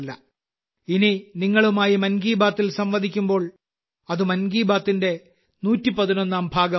ഇനി നിങ്ങളുമായി മൻ കി ബാത്തിൽ സംവദിക്കുമ്പോൾ അത് മൻ കി ബാത്തിന്റെ 111ാം ഭാഗമായിരിക്കും